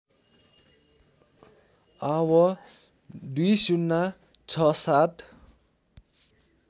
आव २०६७